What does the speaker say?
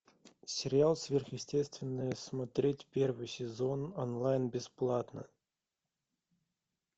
сериал сверхъестественное смотреть первый сезон онлайн бесплатно